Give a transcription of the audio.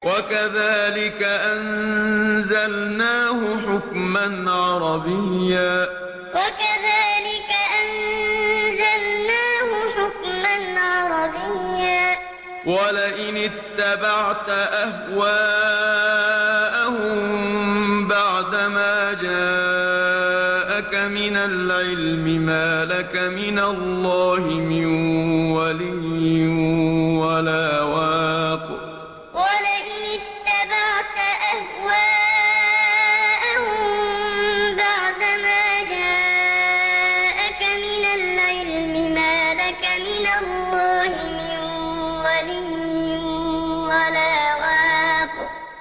وَكَذَٰلِكَ أَنزَلْنَاهُ حُكْمًا عَرَبِيًّا ۚ وَلَئِنِ اتَّبَعْتَ أَهْوَاءَهُم بَعْدَمَا جَاءَكَ مِنَ الْعِلْمِ مَا لَكَ مِنَ اللَّهِ مِن وَلِيٍّ وَلَا وَاقٍ وَكَذَٰلِكَ أَنزَلْنَاهُ حُكْمًا عَرَبِيًّا ۚ وَلَئِنِ اتَّبَعْتَ أَهْوَاءَهُم بَعْدَمَا جَاءَكَ مِنَ الْعِلْمِ مَا لَكَ مِنَ اللَّهِ مِن وَلِيٍّ وَلَا وَاقٍ